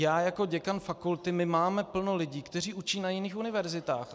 Já jako děkan fakulty, my máme plno lidí, kteří učí na jiných univerzitách.